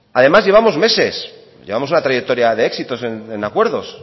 además llevamos meses llevamos una trayectoria de éxitos en acuerdos